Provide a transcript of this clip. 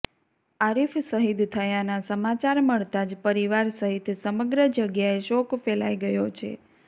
આરીફ શહિદ થયાના સમાચાર મળતા જ પરિવાર સહિત સમગ્ર જગ્યાએ શોક ફેલાઈ ગયો છે